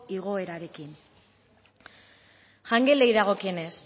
igoerarekin jangelei dagokienez